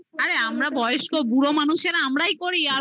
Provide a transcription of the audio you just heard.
আরে আমরা বয়স্ক, বুড়ো মানুষেরা আমরাই করি. আর ও